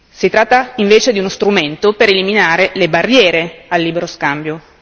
Si tratta invece di uno strumento per eliminare le barriere al libero scambio.